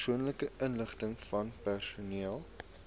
persoonlike inligtingvan persone